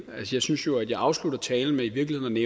jeg synes jo at jeg afslutter talen med i virkeligheden